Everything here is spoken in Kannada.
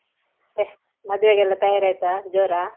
ಮತ್ತೆ ಮದ್ವೆಗೆಲ್ಲ ತಯಾರಿಯಾಯ್ತಾ ಜೋರಾ?